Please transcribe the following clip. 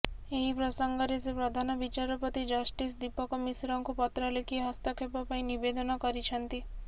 ଏହି ପ୍ରସଙ୍ଗରେ ସେ ପ୍ରଧାନ ବିଚାରପତି ଜଷ୍ଟିସ ଦୀପକ ମିଶ୍ରଙ୍କୁ ପତ୍ର ଲେଖି ହସ୍ତକ୍ଷେପ ପାଇଁ ନିବେଦନ କରିଛନ୍ତି